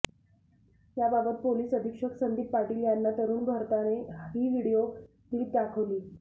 या बाबत पोलिस अधिक्षक संदीप पाटील यांना तरूण भारतने ही व्हिडीओ क्लिप दाखवली